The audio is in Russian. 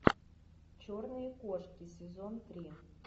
черные кошки сезон три